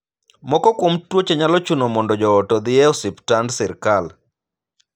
Moko kuom tuoche nyalo chuno mondo joot odhii e osiptand sirkal.